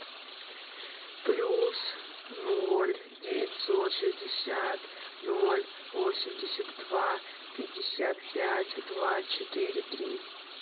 плюс ноль девятьсот шестьдесят ноль восемьдесят два пятьдесят пять два четыре три